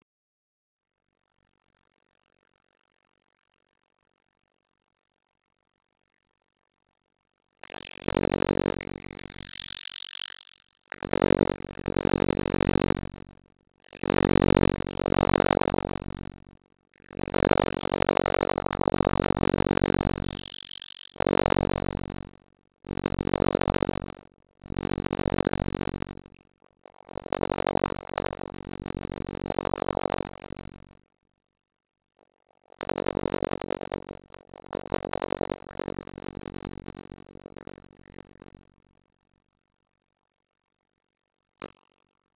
Til skriðdýra eru aðeins sótt nöfnin Ormar og Ormur.